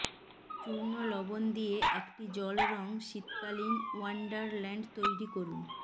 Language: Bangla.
চূর্ণ লবণ দিয়ে একটি জল রং শীতকালীন ওয়ান্ডারল্যান্ড তৈরি করুন